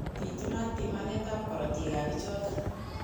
Pitunatin pimanet ab korotik ab pichotok